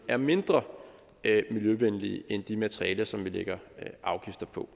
er mindre miljøvenlige end de materialer som vi lægger afgifter på